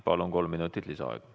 Palun, kolm minutit lisaaega!